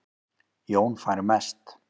Jón fær mest